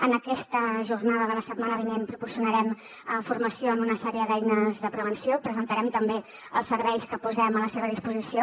en aquesta jornada de la setmana vinent proporcionarem formació en una sèrie d’eines de prevenció presentarem també els serveis que posem a la seva disposició